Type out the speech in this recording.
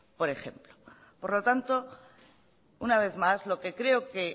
por ejemplo por lo tanto una vez más lo que creo que